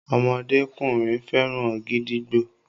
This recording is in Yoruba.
ọmọdékùnrin féràn gídígbò